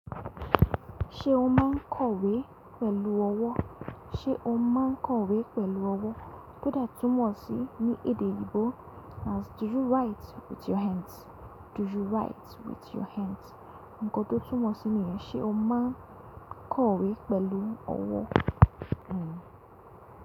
Ṣé o máa ń kọ̀wé pẹ̀lú ọwọ́? Sé o máa ń kọ̀wé pẹ̀lú ọwọ́? Kóde túmọ̀ sí ní èdè oyinbò as “Do you write with your hands?” Do you write with your hands? Ǹkan tó túmọ̀ sí nìyẹn. Sé o máa ń kọ̀wé pẹ̀lú ọwọ́.